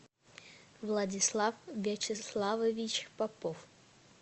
владислав вячеславович попов